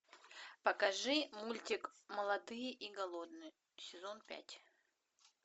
покажи мультик молодые и голодные сезон пять